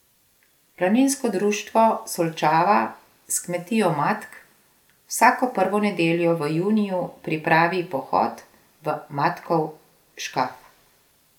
Planinsko društvo Solčava s kmetijo Matk vsako prvo nedeljo v juniju pripravi pohod v Matkov škaf.